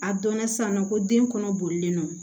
A dɔnna san nɔ ko den kɔnɔ bolilen don